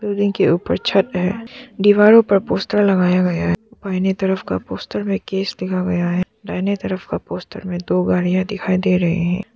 Building ऊपर छत है। दीवारो पर पोस्टर लगाया गया है। बाहीने तरफ का पोस्टर में केस दिखा गया है। दाहिने तरफ का पोस्टर में दो गाड़ियां दिखाई दे रहे हैं।